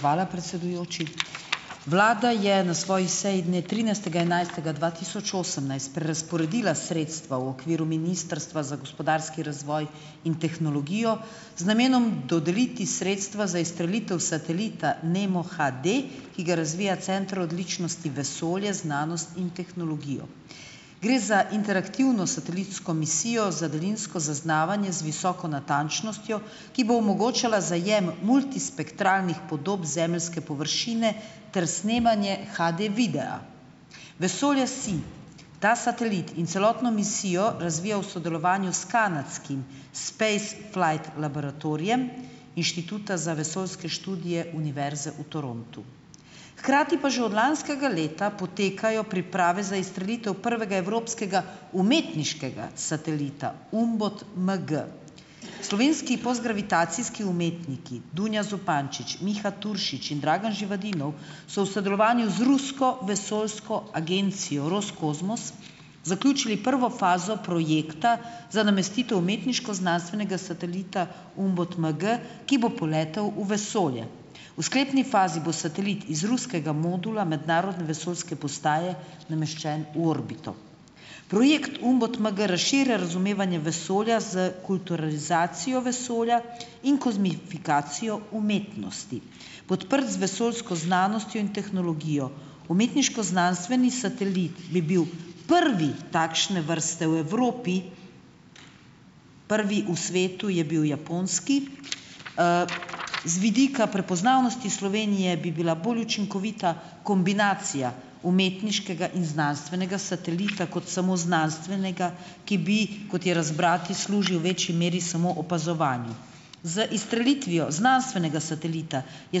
hvala, predsedujoči. Vlada je na svoji seji dne trinajstega enajstega dva tisoč osemnajst prerazporedila sredstva v okviru Ministrstva za gospodarski razvoj in tehnologijo z namenom dodeliti sredstva za izstrelitev satelita NEMO-HD, ki ga razvija Center odličnosti vesolje, znanost in tehnologijo. Gre za interaktivno satelitsko misijo za daljinsko zaznavanje z visoko natančnostjo, ki bo omogočala zajem multispektralnih podob zemeljske površine ter snemanje HD-videa. Vesolje-SI, ta satelit in celotno misijo razvija v sodelovanju s kanadskim Space Flight laboratorijem Inštituta za vesoljske študije Univerze v Torontu. Hkrati pa že od lanskega leta potekajo priprave za izstrelitev prvega evropskega umetniškega satelita Umbot MG. Slovenski postgravitacijski umetniki Dunja Zupančič, Miha Turšič in Dragan Živadinov so v sodelovanju z rusko vesoljsko agencijo Roskozmos zaključili prvo fazo projekta za namestitev umetniško-znanstvenega satelita Umbot MG ki bo poletel v vesolje. V sklepni fazi bo satelit iz ruskega modula mednarodne vesoljske postaje nameščen v orbito. Projekt Umbot MG razširja razumevanje vesolja s kulturalizacijo vesolja in kozmifikacijo umetnosti. Podprt z vesoljsko znanostjo in tehnologijo, umetniško-znanstveni satelit bi bil prvi takšne vrste v Evropi, prvi v svetu je bil japonski. Z vidika prepoznavnosti Slovenije bi bila bolj učinkovita kombinacija umetniškega in znanstvenega satelita kot samo znanstvenega, ki bi, kot je razbrati, služil večji meri samo opazovanju. Z izstrelitvijo znanstvenega satelita je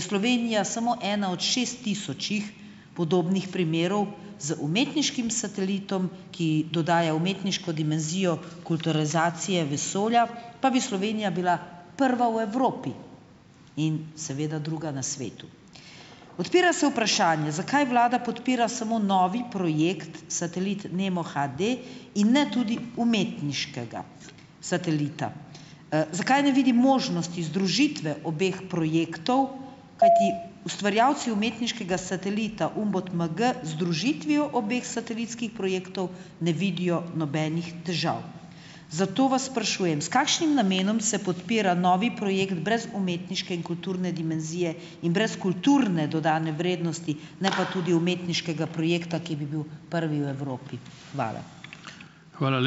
Slovenija samo ena od šest tisočih podobnih primerov, z umetniškim satelitom, ki dodaja umetniško dimenzijo, kulturalizacije vesolja, pa bi Slovenija bila prva v Evropi in seveda druga na svetu. Odpira se vprašanje, zakaj vlada podpira samo novi projekt, satelit Nemo-HD in ne tudi umetniškega satelita. Zakaj ne vidi možnosti združitve obeh projektov, kajti ustvarjalci umetniškega satelita Umbot MG združitvijo obeh satelitskih projektov ne vidijo nobenih težav. Zato vas sprašujem, s kakšnim namenom se podpira novi projekt brez umetniške in kulturne dimenzije in brez kulturne dodane vrednosti, ne pa tudi umetniškega projekta, ki bi bil prvi v Evropi? Hvala.